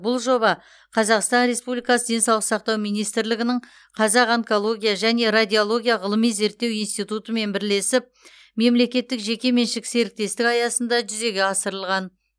бұл жоба қазақстан республикасы денсаулық сақтау министрлігінің қазақ онкология және радиология ғылыми зерттеу институтымен бірлесіп мемлекеттік жеке меншік серіктестік аясында жүзеге асырылған